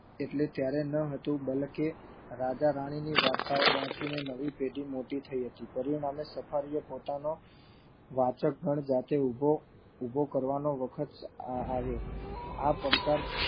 એટલે ત્યારે ન હતું બલકે રાજા રાણી ની વાર્તાઓ વાંચીને નવી પેઢી મોટી થઇ હતી એ નામે સફારી એ પોતાનો વાચક ગણ જાતે ઉભો ઉભો કરવાનો વખત આવ્યો આ પડકાર